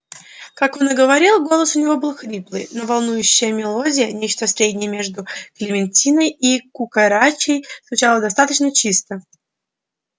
как он и говорил голос у него был хриплый но волнующая мелодия нечто среднее между клементиной и кукарачей звучала достаточно чисто